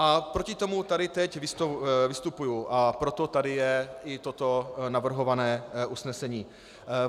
A proti tomu tady teď vystupuji a proto tady je i toto navrhované usnesení.